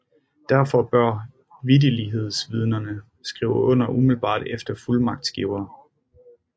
Derfor bør vitterlighedsvidnerne skrive under umiddelbart efter fuldmagtsgiver